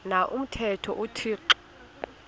na umthetho uthixo